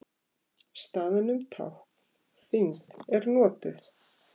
Staðnum tákn þyngd er notuð.